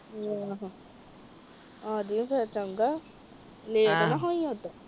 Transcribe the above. ਆ ਜੀ ਫਿਰ ਚੰਗਾ ਲੈਟ ਨਾ ਹੋਈ।